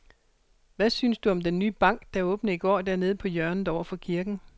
Hvad synes du om den nye bank, der åbnede i går dernede på hjørnet over for kirken?